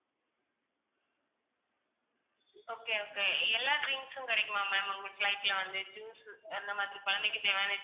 okay okay எல்லா drinks உம் கிடைக்குமா ma'am உங்க flight ல வந்து juice அந்த மாதிரி குழந்தைக்கு தேவையான